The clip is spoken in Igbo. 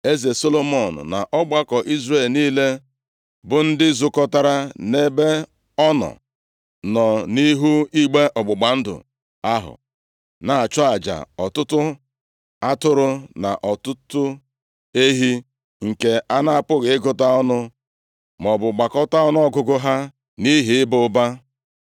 Eze Solomọn na ọgbakọ Izrel niile, bụ ndị zukọtara nʼebe ọ nọ, nọ nʼihu igbe ọgbụgba ndụ ahụ, na-achụ aja ọtụtụ atụrụ na ọtụtụ ehi nke a na-apụghị ịgụta ọnụ maọbụ gbakọta ọnụọgụgụ ha nʼihi ịba ụba.